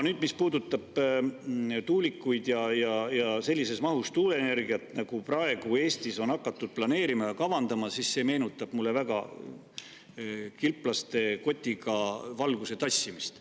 See, mis puudutab tuulikuid ja sellises mahus tuuleenergiat, nagu praegu Eestis on hakatud planeerima, meenutab mulle väga kilplaste kotiga valguse tassimist.